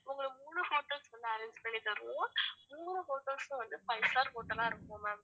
உங்களுக்கு மூணு hotels வந்து arrange பண்ணி தருவோம் மூணு hotels உம் வந்து five star hotel ஆ இருக்கும் ma'am